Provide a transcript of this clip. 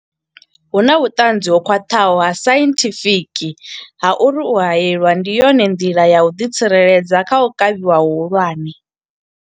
Hu na vhuṱanzi ho khwaṱhaho ha sainthifiki ha uri u haelwa ndi yone nḓila ya u ḓitsireledza kha u kavhiwa hu hulwane.